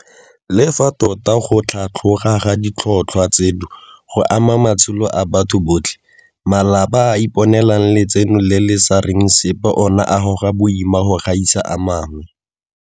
Le fa tota go tlhatloga ga ditlhotlhwa tseno go ama matshelo a batho botlhe, malapa a a iponelang letseno le le sa reng sepe ona a goga boima go gaisa a mangwe.